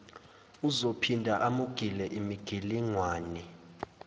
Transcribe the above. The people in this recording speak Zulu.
uzophinda amugile imigilingwane